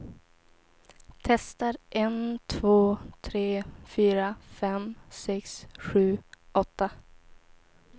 Testar en två tre fyra fem sex sju åtta.